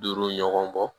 Duuru ɲɔgɔn bɔ